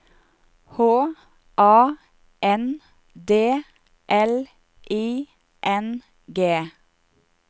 H A N D L I N G